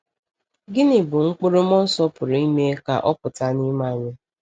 Gịnị bụ mkpụrụ mmụọ Nsọ pụrụ ime ka ọ pụta n’ime anyị?